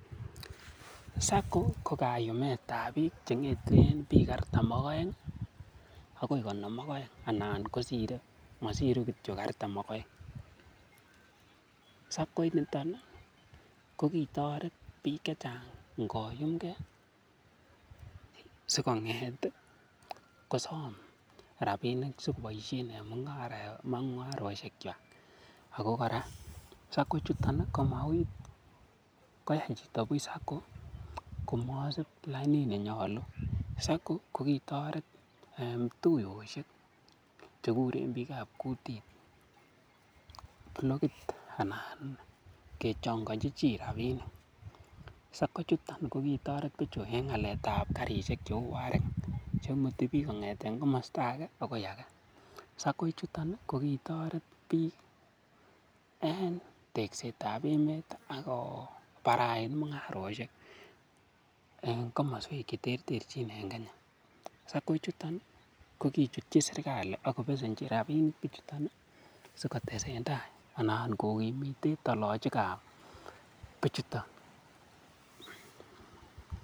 SACCO ko kayumetab biik chengeten biik artam ak oeng akoi konom ak oeng anan kosire mosiru kitio artam ak oeng, SACCO initon ko kitoret biik chechang ingoyumke sikonget kosom rabinik sikoboishen en mungaroshekwak ak ko kora SACCO ichuton kokoyai chito buch SACCO komosib lainit nenyolu, SACCO ko kitoret tuyoshek chekuren biikab kutit blokit anan kechongochi chii rabinik, SACCO chuton ko kitoret bichuton en aleetab karshek cheuu wareng chemuti biik kongeten komosto akee akoii akee, SACCO chuton ko kitoret biik en teksetab emet ak kobarait mungaroshek en komoswek cheterterchin en Kenya, SACCO chuton kokichutyi serikali ak kobesenchi rabinik bichuton sikotesenta anan kokimiten tolochikab bichuton.